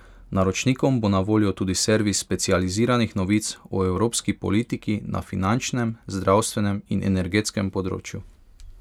Naročnikom bo na voljo tudi servis specializiranih novic o evropski politiki na finančnem, zdravstvenem in energetskem področju.